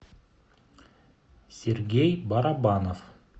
сергей барабанов